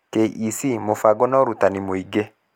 KEC Mũbango na ũrutani mũingĩ